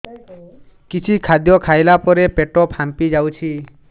କିଛି ଖାଦ୍ୟ ଖାଇଲା ପରେ ପେଟ ଫାମ୍ପି ଯାଉଛି